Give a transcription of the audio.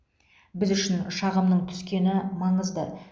біз үшін шағымның түскені маңызды